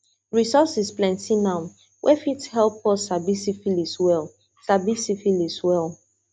resources plenty now wey fit help us sabi syphilis well sabi syphilis well